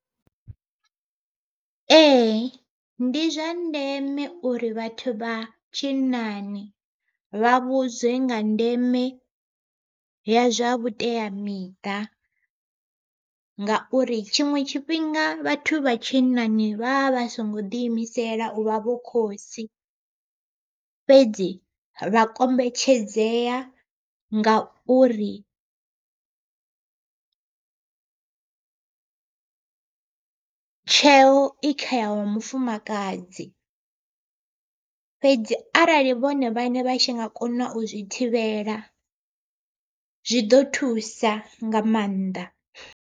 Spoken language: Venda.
Ee ndi zwa ndeme uri vhathu vha tshinnani vha vhudzwe nga ndeme ya zwa vhuteamiṱa, ngauri tshiṅwe tshifhinga vhathu vha tshinnani vha vha songo ḓi imisela uvha vho khotsi. Fhedzi vha kombetshedzea ngauri tsheo i kha wa mufumakadzi fhedzi arali vhone vhaṋe vha tshi nga kona u zwi thivhela, zwi ḓo thusa nga maanḓa.